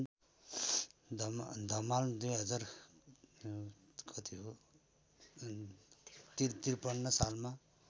धमला २०५३ सालमा